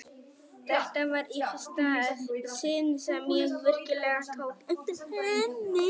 Þetta var í fyrsta sinn sem ég virkilega tók eftir henni.